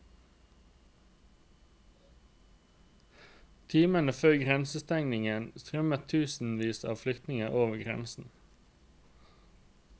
Timene før grensestengingen strømmer tusenvis av flyktinger over grensen.